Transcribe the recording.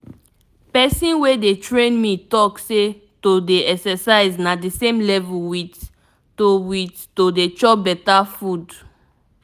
person wey dey train me talk say to dey exercise na the same level with to with to dey chop better food.